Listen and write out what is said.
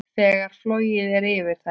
Þegar flogið er yfir þær.